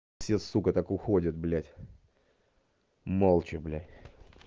все сука так уходят блядь молча блядь